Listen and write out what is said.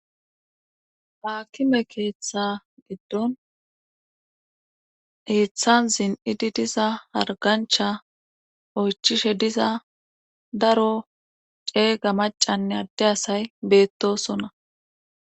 Haakime keeththa giddon keeththan zin7idi diza hargancha oychishe diza daro ceega macanne adde asay beettosona